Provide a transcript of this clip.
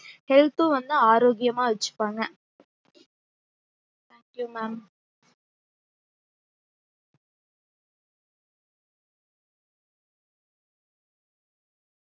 health ம் வந்து ஆரோக்கியம்மா வச்சுப்பாங்க thank you mam